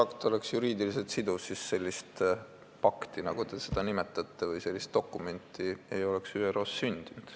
Kui see oleks juriidiliselt siduv, siis sellist pakti, nagu te seda nimetate, või sellist dokumenti ei oleks ÜRO-s sündinud.